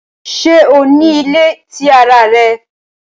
Ṣe o ni ile ti ara rẹ?